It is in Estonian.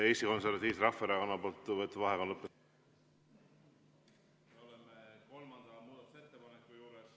Eesti Konservatiivse Rahvaerakonna võetud vaheaeg on lõppenud.